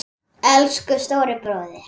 Elsku stóri bróðir.